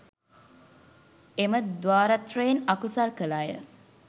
එම ද්වාරත්‍රයෙන් අකුසල් කළ අය